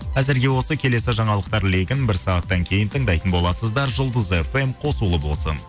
әзірге осы келесі жаңалықтар легін бір сағаттан кейін тыңдайтын боласыздар жұлдыз фм қосулы болсын